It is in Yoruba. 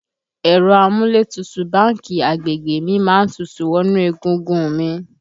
Ẹ̀rọ amúlétutù báńkì agbègbè mi má ń tutù wọnú egungun un mi